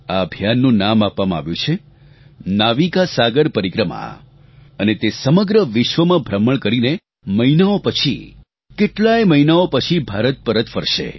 આ અભિયાનનું નામ આપવામાં આવ્યું છે નાવિકા સાગર પરિક્રમા અને તે સમગ્ર વિશ્વમાં ભ્રમણ કરીને મહિનાઓ પછી કેટલાય મહિનાઓ પછી ભારત પરત ફરશે